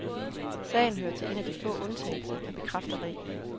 Sagen hører til en af de få undtagelser, der bekræfter reglen.